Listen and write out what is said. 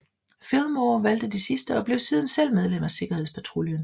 Fillmore valgte det sidste og blev siden selv medlem af sikkerhedspatruljen